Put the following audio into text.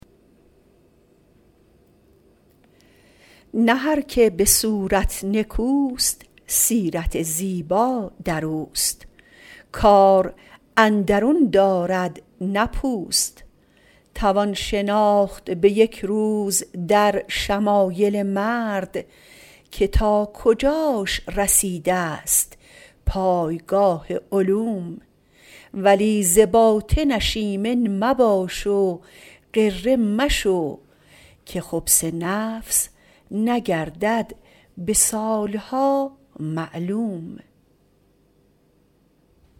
نه هر که به صورت نکوست سیرت زیبا در اوست کار اندرون دارد نه پوست توان شناخت به یک روز در شمایل مرد که تا کجاش رسیده ست پایگاه علوم ولی ز باطنش ایمن مباش و غره مشو که خبث نفس نگردد به سالها معلوم